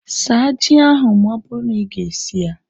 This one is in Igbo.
Saa ji ahu ma ọ bụrụ na iga esi ya!